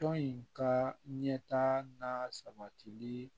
Tɔn in ka ɲɛta n'a sabatili